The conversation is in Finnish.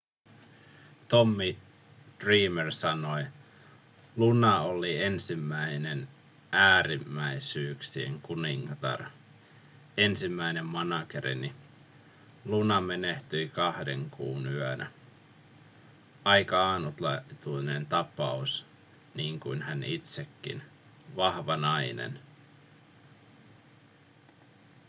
tommy dreamer sanoi luna oli ensimmäinen äärimmäisyyksien kuningatar ensimmäinen managerini luna menehtyi kahden kuun yönä aika ainutlaatuinen tapaus niin kuin hän itsekin vahva nainen